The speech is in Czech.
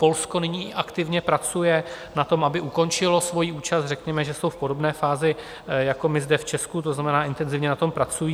Polsko nyní aktivně pracuje na tom, aby ukončilo svoji účast, řekněme, že jsou v podobné fázi jako my zde v Česku, to znamená, intenzivně na tom pracují.